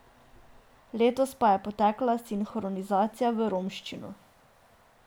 Letos pa je potekala sinhronizacija v romščino.